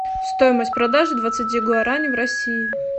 стоимость продажи двадцати гуарани в россии